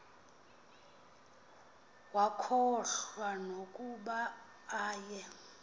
wakhohlwa nokuba aye